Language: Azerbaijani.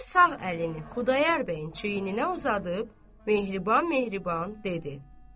Qazı sağ əlini Xudayar bəyin çiyninə uzadıb, mehriban-mehriban dedi: